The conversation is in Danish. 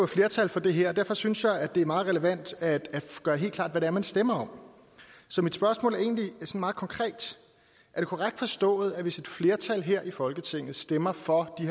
flertal for det her og derfor synes jeg at det er meget relevant at gøre helt klart hvad det er man stemmer om så mit spørgsmål er egentlig meget konkret er det korrekt forstået at hvis et flertal her i folketinget stemmer for de